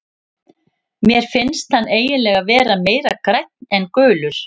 Mér finnst hann eiginlega vera meira grænn en gulur.